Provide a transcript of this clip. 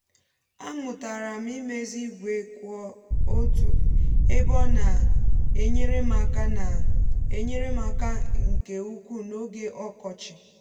a mụtara m imezi igwe kwụ otu ebe ọ na-enyere m aka na-enyere m aka nke ukwuu n’oge ọkọchị